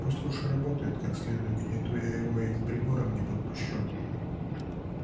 пусть лучше работает как следует не то я его и к приборам не подпущу